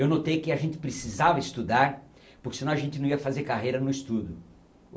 Eu notei que a gente precisava estudar, porque senão a gente não ia fazer carreira no estudo